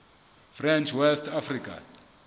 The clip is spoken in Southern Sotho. french west africa